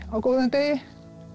á góðum degi